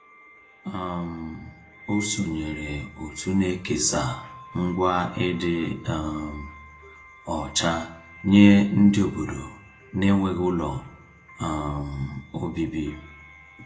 um O sonyeere òtù na-ekesa ngwa ịdị um ọcha nye ndị obodo n'enweghị ụlọ um obibi.